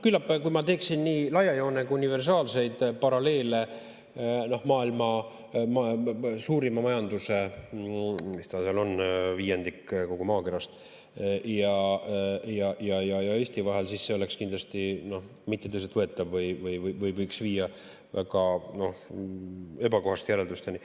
Küllap, kui ma teeksin nii laia joonega universaalseid paralleele maailma suurima majanduse – mis ta seal on, viiendik kogu maakerast – ja Eesti vahel, siis see oleks kindlasti mitte tõsiselt võetav või võiks viia väga ebakohaste järeldusteni.